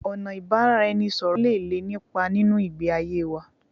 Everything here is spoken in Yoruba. Ọ̀nà ìbánisọ̀rọ̀ lé nípa nínú ìgbé ayé wa